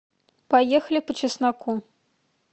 поехали по чесноку